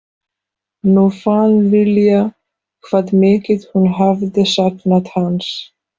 Nú fann Lilla hvað mikið hún hafði saknað hans.